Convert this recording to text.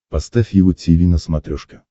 поставь его тиви на смотрешке